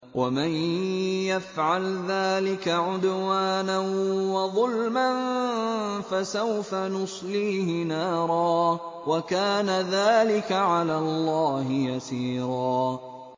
وَمَن يَفْعَلْ ذَٰلِكَ عُدْوَانًا وَظُلْمًا فَسَوْفَ نُصْلِيهِ نَارًا ۚ وَكَانَ ذَٰلِكَ عَلَى اللَّهِ يَسِيرًا